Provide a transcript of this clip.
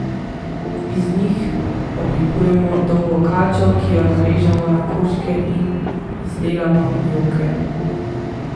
Iz njih oblikujemo dolgo kačo, ki jo narežemo na koščke in izdelamo njoke.